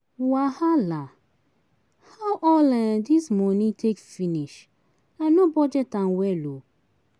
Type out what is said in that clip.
Wahala! How all um this money take finish? I no budget well um.